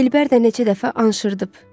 Dilbər də neçə dəfə anşırdıb.